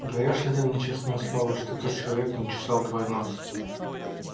даёшь ли ты мне честное слово что тот человек не чесал твой нос